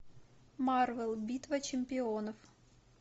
марвел битва чемпионов